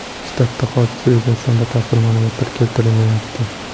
Shtabda hodisa yuzasidan batafsil ma’lumotlar keltirilmayapti.